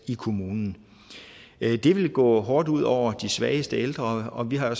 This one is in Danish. i kommunen det vil gå hårdt ud over de svageste ældre og vi har jo